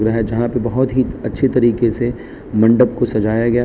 यहां जहां पे बहोत ही अच्छी तरीके से मंडप को सजाया गया --